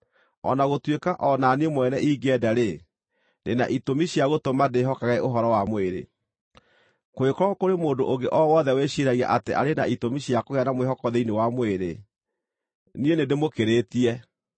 o na gũtuĩka o na niĩ mwene ingĩenda-rĩ, ndĩ na itũmi cia gũtũma ndĩĩhokage ũhoro wa mwĩrĩ. Kũngĩkorwo kũrĩ mũndũ ũngĩ o wothe wĩciiragia atĩ arĩ na itũmi cia kũgĩa na mwĩhoko thĩinĩ wa mwĩrĩ, niĩ nĩndĩmũkĩrĩtie.